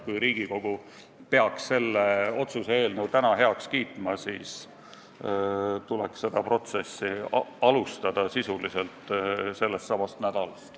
Kui Riigikogu peaks selle otsuse eelnõu täna heaks kiitma, siis tuleks protsessi alustada sisuliselt sel nädalal.